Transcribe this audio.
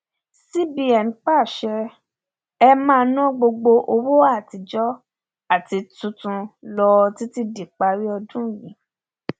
cbn pàṣẹ e máa ná gbogbo owó àtijọ àti tuntun lọ títí díparí ọdún yìí